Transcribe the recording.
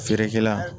Feerekɛla